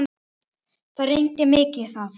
Það rignir mikið þar.